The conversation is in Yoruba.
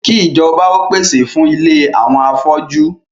Kí ìjọba ó pèsè fún ilé àwọn afọ́jú